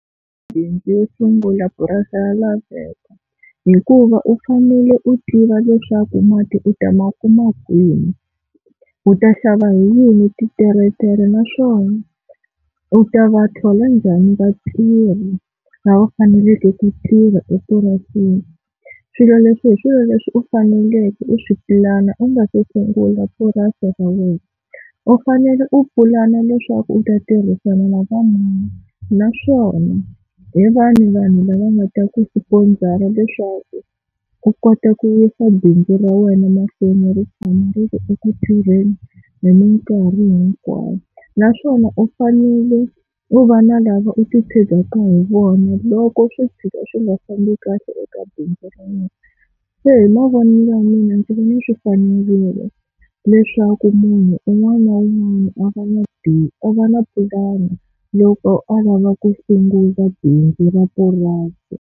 yo sungula purasi ya laveko hikuva u fanele u tiva leswaku mati u ta ma kuma kwini, u ta xava hi yini titeretere naswona u ta va thola njhani vatirhi lava faneleke ku tirha epurasini. Swilo leswi hi swilo leswi u faneleke u swi pulana u nga si sungula purasi ra wena, U fanele u pulana leswaku u ta tirhisana na va mani, naswona hi vahi vanhu lava nga ta ku swiponzara leswaku u kota ku yisa bindzu ra wena mahlweni ri tshama ri eku tirheni hi minkarhi hinkwayo. Naswona u fanele u va na lava u ti tshegeke hi vona loko swi fika swi nga fambi kahle eka bindzu ra yena. Se hi mavonelo ya mina ndzi vone swi fanerile leswaku munhu un'wana na un'wana a va na a va na pulani loko a lava ku sungula bindzu ra purasi.